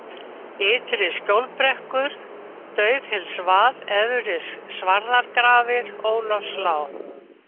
Ytri-Skjólbrekkur, Daufhylsvað, Efri-Svarðargrafir, Ólafslág